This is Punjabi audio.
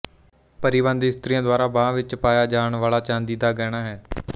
ਪਰੀਬੰਦ ਇਸਤਰੀਆਂ ਦੁਆਰਾ ਬਾਂਹ ਵਿੱਚ ਪਾਇਆ ਜਾਣ ਵਾਲਾ ਚਾਂਦੀ ਦਾ ਗਹਿਣਾ ਹੈ